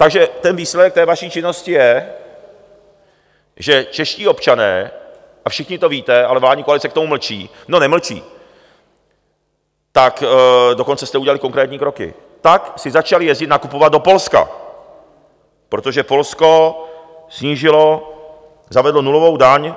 Takže ten výsledek té vaší činnosti je, že čeští občané, a všichni to víte, ale vládní koalice k tomu mlčí, no nemlčí, tak dokonce jste udělali konkrétní kroky, tak si začali jezdit nakupovat do Polska, protože Polsko snížilo, zavedlo nulovou daň,